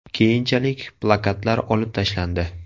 Keyinchalik plakatlar olib tashlandi.